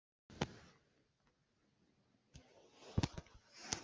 Af hverju fer illa fyrir mörgum?